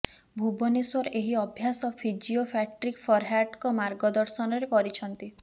ଭୁବନେଶ୍ୱର ଏହି ଅଭ୍ୟାସ physio Patrick ଫରହାର୍ଟଙ୍କ ମାର୍ଗଦର୍ଶନରେ କରିଛନ୍ତି